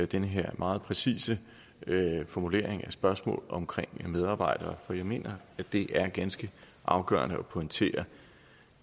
den her meget præcise formulering af spørgsmålet omkring medarbejdere for jeg mener at det er ganske afgørende at pointere